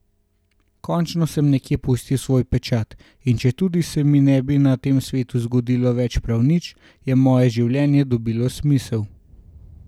Končno sem nekje pustil svoj pečat, in četudi se mi ne bi na tem svetu zgodilo več prav nič, je moje življenje dobilo smisel.